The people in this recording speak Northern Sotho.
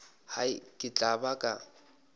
hai ke tla ba ka